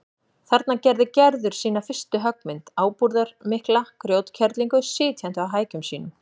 Þarna gerði Gerður sína fyrstu höggmynd, ábúðarmikla grjótkerlingu sitjandi á hækjum sínum.